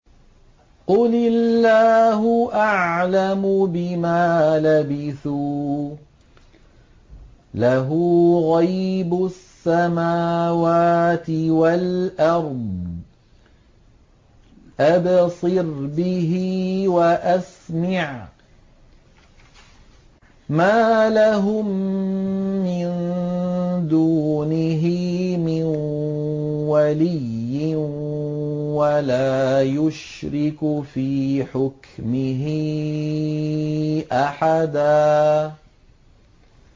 قُلِ اللَّهُ أَعْلَمُ بِمَا لَبِثُوا ۖ لَهُ غَيْبُ السَّمَاوَاتِ وَالْأَرْضِ ۖ أَبْصِرْ بِهِ وَأَسْمِعْ ۚ مَا لَهُم مِّن دُونِهِ مِن وَلِيٍّ وَلَا يُشْرِكُ فِي حُكْمِهِ أَحَدًا